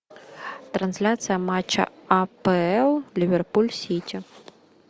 трансляция матча апл ливерпуль сити